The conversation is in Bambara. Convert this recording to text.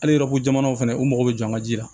Hali yɔrɔ ko jamanaw fɛnɛ u mago bɛ jɔ an ka ji la